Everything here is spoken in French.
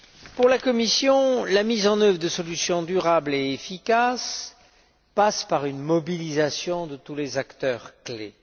Pour la Commission, la mise en œuvre de solutions durables et efficaces passe par une mobilisation de tous les acteurs clés